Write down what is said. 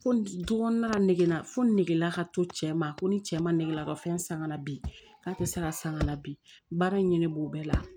Ko du kɔnɔna negera fo negela ka to cɛ ma ko ni cɛ ma ne lakɔ fɛn san ka na bi k'a tɛ se ka sanga bi baara in ɲinɛ b'o bɛɛ la